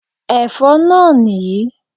Ẹ̀fọ́ náà nì yí